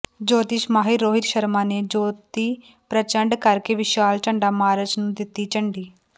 ਜੋਤਿਸ਼ ਮਾਹਿਰ ਰੋਹਿਤ ਸ਼ਰਮਾ ਨੇ ਜੋਤੀ ਪ੍ਰਚੰਡ ਕਰਕੇ ਵਿਸ਼ਾਲ ਝੰਡਾ ਮਾਰਚ ਨੂੰ ਦਿੱਤੀ ਝੰਡੀ